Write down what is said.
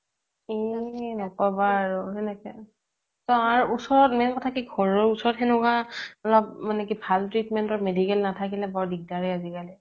এই ন্কবা আৰু সেনেকে তাৰ ওচৰত main কথা কি ঘৰৰ ওচৰত সেনেকুৱা কি ভাল treatment ৰ medical নাথাকিলে বৰ দিগ্দাৰ ৰে আজিকালি